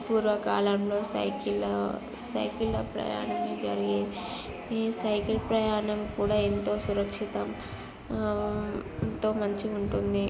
పూర్వ కాలంలో సైకిల్ సైకిళ్ళ ప్రయాణం జరిగేది ఈ సైకిళ్ళ ప్రయాణం కూడా ఎంతో సురక్షితం ఎంతో మంచిగుంటుంది.